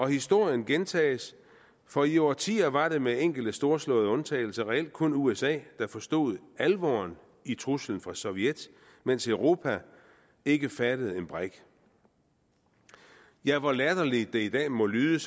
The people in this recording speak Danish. historien gentages for i årtier var det med enkelte storslåede undtagelser reelt kun usa der forstod alvoren i truslen fra sovjet mens europa ikke fattede en brik ja hvor latterligt det i dag må lyde